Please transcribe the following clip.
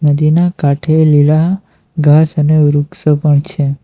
તેના કાંઠે લીલા ઘાસ અને વૃક્ષો પણ છે.